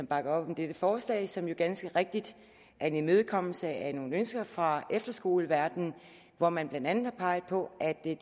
bakker op om dette forslag som jo ganske rigtigt er en imødekommelse af nogle ønsker fra efterskoleverden hvor man blandt andet har peget på at det